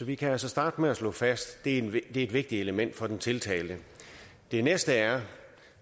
vi kan altså starte med at slå fast at det er et vigtigt vigtigt element for den tiltalte det næste er